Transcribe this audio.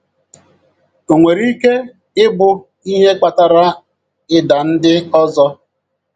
ọ nwere ike ịbụ ihe kpatara ịda ndị ọzọ?